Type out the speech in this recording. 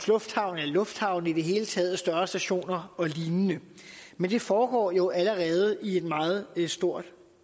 lufthavn eller lufthavne i det hele taget større stationer og lignende men det foregår jo allerede i meget stort